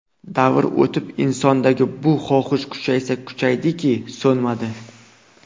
Davrlar o‘tib insondagi bu xohish kuchaysa kuchaydiki, so‘nmadi.